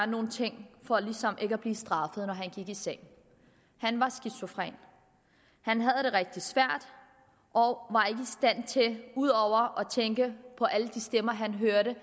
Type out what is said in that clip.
nogle ting for ligesom ikke at blive straffet når han gik i seng han var skizofren han havde det rigtig svært og ud over at tænke på alle de stemmer han hørte